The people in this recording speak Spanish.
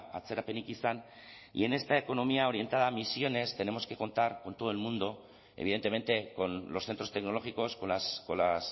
atzerapenik izan y en esta economía orientada a emisiones tenemos que contar con todo el mundo evidentemente con los centros tecnológicos con las